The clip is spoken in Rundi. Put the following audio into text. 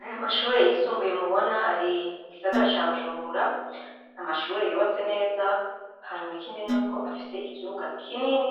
Ayo mashure yisumbuye mubona ari mu gisagara ca Bujumbura ni amashure yubatse neza hanyuma afite ikibuga kinini